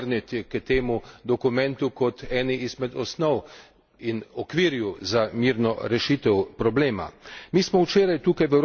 Mislim, da se bomo morali vrniti k temu dokumentu kot eni izmed osnov in okvirju za mirno rešitev problema.